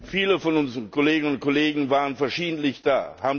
Viele von unseren Kolleginnen und Kollegen waren verschiedentlich da.